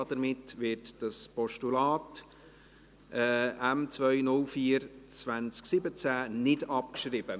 Damit wird dieses Postulat M 204-2017 nicht abgeschrieben.